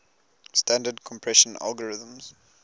standard compression algorithms